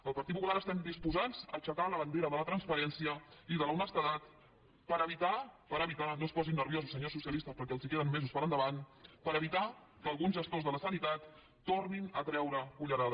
el partit popular estem disposats a aixecar la bandera de la transparència i de l’honestedat senyors socialistes perquè els queden mesos per endavant per evitar que alguns gestors de la sanitat tornin a treure cullerada